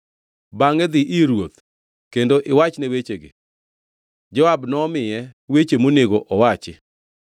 Bangʼe idhi ir ruoth kendo iwachne wechegi.” Joab nomiye weche monego owach.